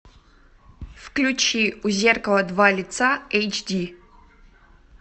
включи у зеркала два лица эйч ди